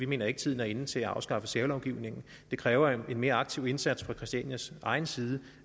mener at tiden er inde til at afskaffe særlovgivningen det kræver en mere aktiv indsats fra christianias egen side